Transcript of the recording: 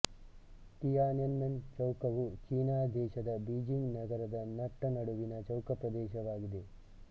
Tiananmen ಚೌಕವು China ದೇಶದ Beijing ನಗರದ ನಟ್ಟ ನಡುವಿನ ಚೌಕಪ್ರದೇಶವಾಗಿದೆ